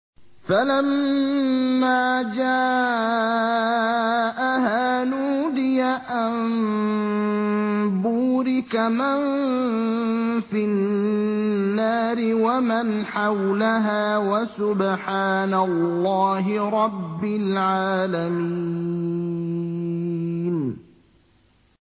فَلَمَّا جَاءَهَا نُودِيَ أَن بُورِكَ مَن فِي النَّارِ وَمَنْ حَوْلَهَا وَسُبْحَانَ اللَّهِ رَبِّ الْعَالَمِينَ